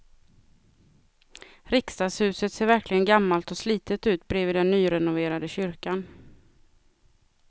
Riksdagshuset ser verkligen gammalt och slitet ut bredvid den nyrenoverade kyrkan.